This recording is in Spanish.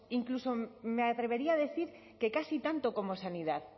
incluso me atrevería a decir que casi tanto como en sanidad